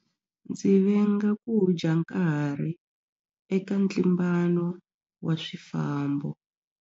Ndzi venga ku dya nkarhi eka ntlimbano wa swifambo.